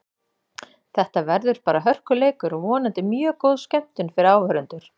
Þetta verður bara hörkuleikur og vonandi mjög góð skemmtun fyrir áhorfendur.